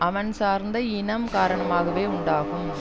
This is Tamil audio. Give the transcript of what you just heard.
அவன் சார்ந்த இனம் காரணமாகவே உண்டாகும்